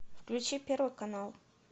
включи первый канал